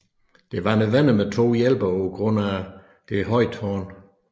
Det var nødvendigt med to hjælpere på grund af det høje tårn